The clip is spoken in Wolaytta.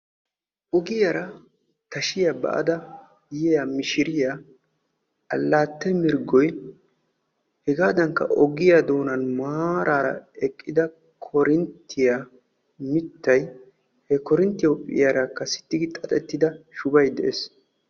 ogiyaara tashshiyaa ba"ada yiyaa mishiriyaa allaatte mirggoy hegaadankka ogiyaa doonan maarara eqqida korinttiyaa mittay he korinttiyaa huuphphiyaarakka sitti gi xaxettida shubay de'ees.